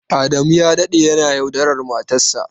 Adamu ya dade yana yaudarar matarsa.